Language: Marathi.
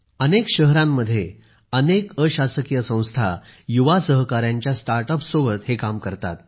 अनेक शहरांमध्ये अनेक अशासकीय संस्था युवा सहकाऱ्यांच्या स्टार्ट अप्ससोबत हे काम करतात